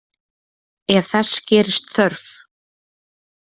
Ef þess gerist þörf